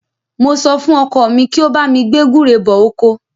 Mo sọ fún ọkọ mi kí ó bá mi gbé gúre bọ oko.